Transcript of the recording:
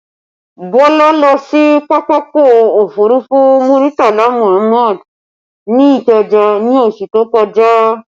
Bọlá lọ sí pápákọ̀ òfurufú Muritala Muhammad ní Ikeja ní oṣù tó kọjá